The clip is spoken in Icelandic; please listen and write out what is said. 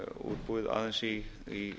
útbúið aðeins í